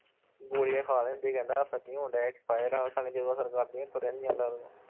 ਗੋਲੀਆਂ ਖਾ ਲੈਂਦੇ ਕਹਿੰਦਾ ਅਸਰ ਨੀ ਹੋਣਡਿਆ expire ਆ ਜਦੋਂ ਅਸਰ ਕਰਦੀਆਂ ਤੁਰਿਆ ਨੀ ਜਾਂਦਾ